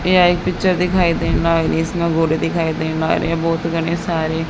ये आई पिक्चर दिखाई दे रहा और इसमें घोड़े दिखाई दे रहा और ये बहोत घड़े सारे--